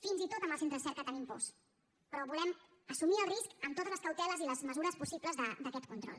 fins i tot amb els centres cerca tenim pors però volem assumir el risc amb totes les cauteles i les mesures possibles d’aquest control